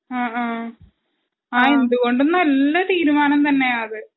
അ ആ എന്തുകൊണ്ടും നല്ല തീരുമാനം തന്നെയാ അത്.